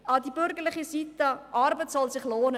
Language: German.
An die bürgerliche Seite: Arbeit soll sich lohnen.